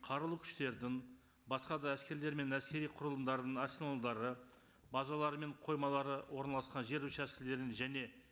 қарулы күштердің басқа да әскерлер мен әскери құрылымдарының арсеналдары базалары мен қоймалары орналасқан жер учаскілерін және